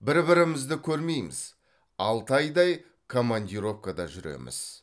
бір бірімізді көрмейміз алты айдай командировкада жүреміз